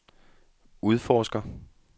udforsker